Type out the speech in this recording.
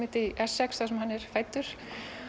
í Essex þar sem hann er fæddur